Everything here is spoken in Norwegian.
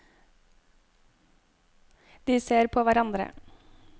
De ser på hverandre.